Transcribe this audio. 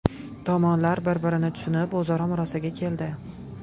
Tomonlar bir-birini tushunib, o‘zaro murosaga keldi.